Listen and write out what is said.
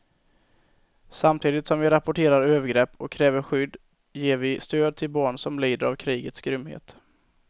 Samtidigt som vi rapporterar övergrepp och kräver skydd ger vi stöd till barn som lider av krigets grymhet.